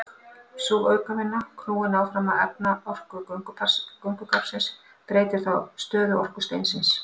Sú aukavinna, knúin áfram af efnaorku göngugarpsins, breytir þá stöðuorku steinsins.